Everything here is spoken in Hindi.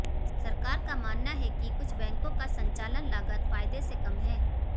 सरकार का मानना है कि कुछ बैंकों का संचालन लागत फायदे से कम है